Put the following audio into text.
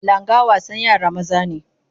Langa wasan yara maza ne.